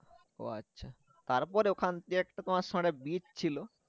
ও আচ্ছা তারপর ওখান দিয়ে একটা তোমার সামনে beach ছিল